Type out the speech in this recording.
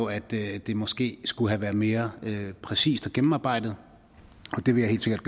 at det det måske skulle have været mere præcist og gennemarbejdet og det vil jeg helt sikkert